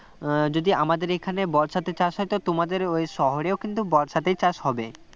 উম যদি আমাদের এখানে বর্ষাতে চাষ হয় তো তোমাদের এই শহরেও কিন্তু বর্ষাতেই চাষ হবে